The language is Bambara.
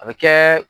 A bɛ kɛ